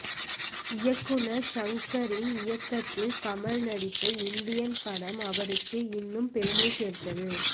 இயக்குநர் ஷங்கரின் இயக்கத்தில் கமல் நடித்த இந்தியன் படம் அவருக்கும் இன்னும் பெருமை சேர்த்தது